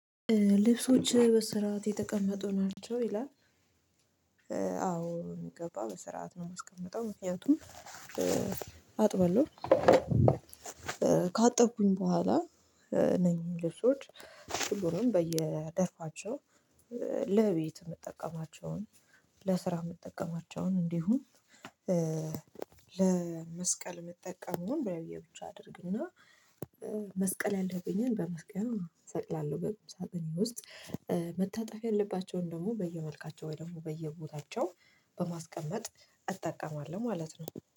"ልብሶች በስርዓት የተቀመጡ ናቸው?" ይላል። አዎ በሚገባ በስርዓት ነው የማስቀምጠው። ምክንያቱም አጥባለሁ፣ ካጠብኩኝ በኋላ እነኚ ልብሶች ሁሉንም በየደርፋቸው ለቤት የምጠቀማቸውን፣ ለስራ የምትጠቀማቸውን፣ እንዲሁም ለመስቀል የምጠቀመውን በየብቻ አደርግና መስቀል ያለብኝን በመስቀያ እሰቅላለሁ በቁም ሳጥኔ ውስጥ መታጠፍ ያለባቸውን ደግሞ በየመልካቸው ወይ ደግሞ በየቦታቸው በማስቀመጥ እጠቀማለሁ ማለት ነው።